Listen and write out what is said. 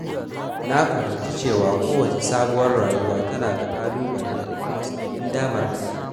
Na fahimci cewa kowace sabuwar rayuwa tana da ƙalubale da kuma sabbin damarmaki.